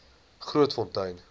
grootfontein